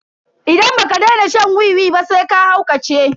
Idan baka daina shan wiwi ba sai ka haukace.